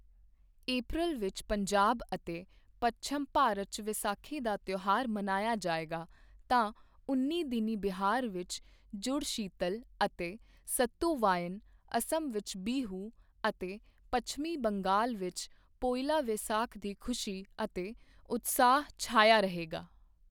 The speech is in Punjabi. ਅਪ੍ਰੈਲ ਵਿੱਚ ਪੰਜਾਬ ਅਤੇ ਪੱਛਮ ਭਾਰਤ 'ਚ ਵਿਸਾਖੀ ਦਾ ਤਿਓਹਾਰ ਮਨਾਇਆ ਜਾਏਗਾ ਤਾਂ ਉਨੀਂ ਦਿਨੀਂ ਬਿਹਾਰ ਵਿੱਚ ਜੁੜਸ਼ੀਤਲ ਅਤੇ ਸਤੁਵਾਈਨ, ਅਸਮ ਵਿੱਚ ਬਿਹੂ ਅਤੇ ਪੱਛਮੀ ਬੰਗਾਲ ਵਿੱਚ ਪੋਇਲਾ ਵੈਸਾਖ ਦੀ ਖੁਸ਼ੀ ਅਤੇ ਉਤਸ਼ਾਹ ਛਾਇਆ ਰਹੇਗਾ।